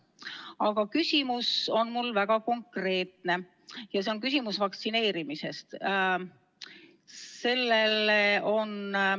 Aga küsimus on mul väga konkreetne ja see on vaktsineerimisest.